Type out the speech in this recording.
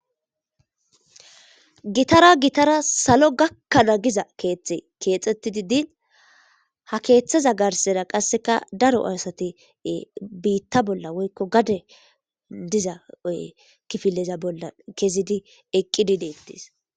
Gittra gittara salo gakana giza kethi kexetidi diini hakethazA garisera qasi daro asati bitta bolla woy gade diza kifileza bolla kei eqidi de'etes